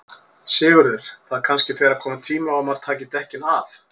Sigurður: Það kannski fer að koma tími á að maður taki dekkin af?